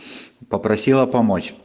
попросила помочь